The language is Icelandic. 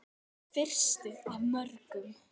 Þá fyrstu af mörgum.